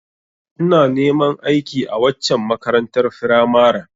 Ina neman aiki a waccen makarantar firamaren